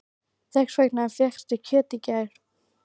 Þess vegna fékkstu kjöt í gær.